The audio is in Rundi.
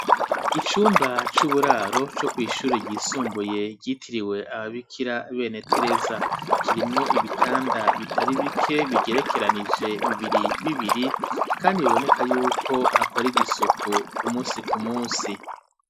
Icumba c'uburaro co kw'ishuri ryisumbuye ryitiriwe aba bikira bene tereza kirimwo ibitanda bitari bike bigerekeranije bibiri bibiri kandi biboneka yuko hakorerwa isuku ku musi ku musi.